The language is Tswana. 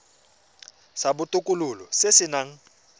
sa botokololo se se nang